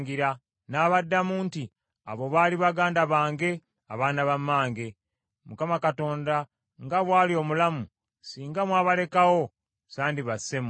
N’abaddamu nti, “Abo baali baganda bange, abaana ba mmange. Mukama Katonda nga bw’ali omulamu, singa mwabalekawo, sandi basse mmwe.”